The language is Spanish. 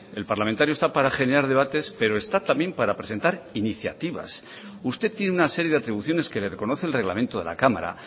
el parlamentario está para generar debates pero está también para presentar iniciativas usted tiene una serie de atribuciones que le reconoce el reglamento de la cámara